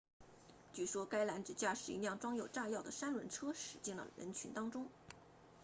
据说该男子驾驶一辆装有炸药的三轮车驶进了人群当中